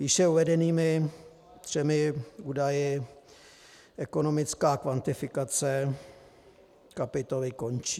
Výše uvedenými třemi údaji ekonomická kvantifikace kapitoly končí.